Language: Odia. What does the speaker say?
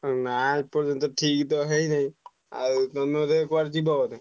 ନା ଏପର୍ଯ୍ୟନ୍ତ ଠିକ ତ ହେଇନାଇଁ ଆଉ ତମେ ବୋଧେ କୁଆଡେ ଯିବ ବୋଧେ?